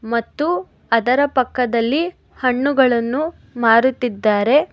ಮತ್ತು ಅದರ ಪಕ್ಕದಲ್ಲಿ ಹಣ್ಣುಗಳನ್ನು ಮಾರುತ್ತಿದ್ದಾರೆ.